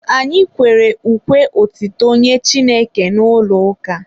Anyị kwere ukwe otuto nye Chineke n'ụlọ ụka.